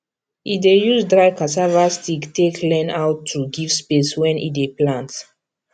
e dey use dry cassava stick take learn how to give space when e dey plant